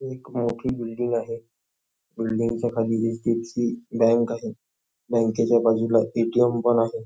एक मोठी बिल्डिंग आहे बिल्डिंगच्या खाली एच.डी.एफ.सी. बँक आहे बँकेच्या बाजूला ए.टी.एम. पण आहे.